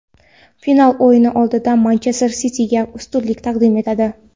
final o‘yini oldidan "Manchester Siti"ga ustunlik taqdim etadi.